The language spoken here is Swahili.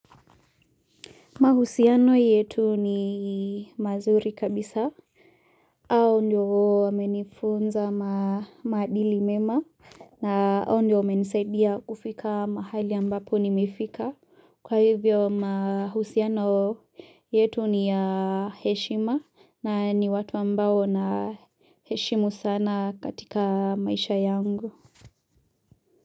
Mahusiano yetu ni mazuri kabisa, au ndoo menifunza maadili mema na au ndo menisaidia kufika mahali ambapo nimefika. Kwa hivyo mahusiano yetu ni ya heshima na ni watu ambao naheshimu sana katika maisha yangu.